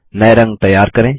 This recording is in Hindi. नए रंग तैयार करें